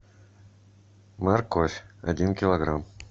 морковь один килограмм